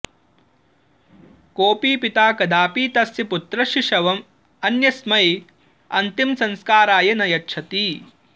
कोऽपि पिता कदापि तस्य पुत्रस्य शवम् अन्यस्मै अन्तिमसंस्काराय न यच्छति